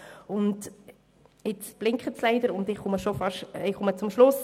Das Lämpchen blinkt, und ich komme zum Schluss.